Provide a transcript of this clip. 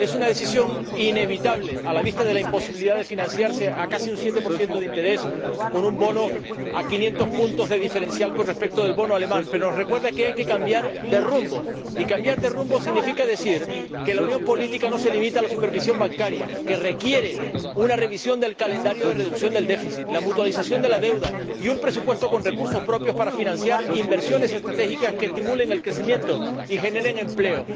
Es una decisión inevitable, a la vista de la imposibilidad de financiarse a casi un 7 de interés, con un bono a 500 puntos de diferencial con respecto al bono alemán. Pero ello nos recuerda que hay que cambiar de rumbo y cambiar de rumbo significa decir que la unión política no se limita a la supervisión bancaria, sino que requiere una revisión del calendario de revisión del déficit, la mutualización de la deuda y un presupuesto con recursos propios para financiar inversiones estratégicas que estimulen el crecimiento y generen empleo.